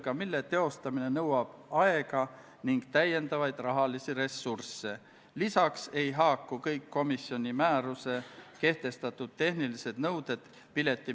Käeoleva aasta 5. novembril toimus riigikaitse- ja väliskomisjoni ühine väljasõiduistung Kaitseväe peastaapi, kus anti ülevaade missioonide piirkondades toimuvast.